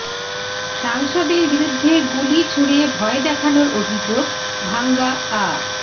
সাংসদের বিরুদ্ধে গুলি ছুড়ে ভয় দেখানোর অভিযোগ ভাঙ্গা আ